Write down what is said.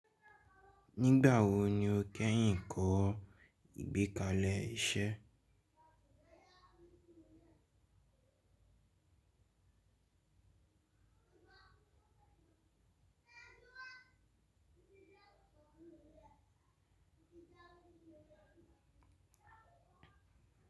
Nígbà wo ni o kẹ́yìn kọ́ ìgbékalẹ̀ iṣẹ́?